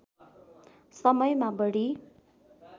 समयमा बढी